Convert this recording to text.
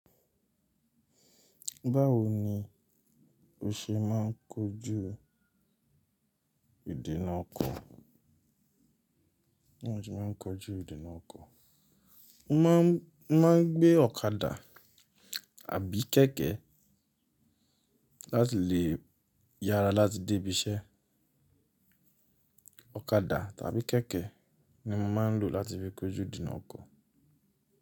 Báwo ni o ṣe máà ń kojú ìdína ọkọ? Mo máà ń gbé ọ̀kadà àbí kéèké láti lè yára láti dé bi iṣẹ́. Ọ̀kadà tàbí kéèké ni mo máa ń lò láti fi kojú ìdína ọkọ.